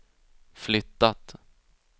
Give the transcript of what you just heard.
flyttat